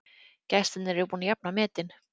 Gestirnir eru búnir að jafna metin